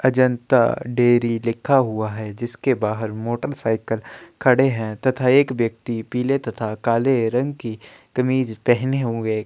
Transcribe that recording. Ajanta dairy लिखा हुआ है जिसके बाहर मोटर साइकिल खड़े है तथा एक व्यक्ति पीले तथा काले रंग के कमीज पेहने हुए --